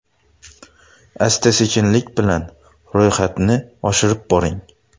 Asta-sekinlik bilan ro‘yxatni oshirib boring.